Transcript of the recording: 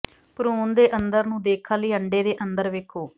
ਭਰੂਣ ਦੇ ਅੰਦਰ ਨੂੰ ਦੇਖਣ ਲਈ ਅੰਡੇ ਦੇ ਅੰਦਰ ਵੇਖੋ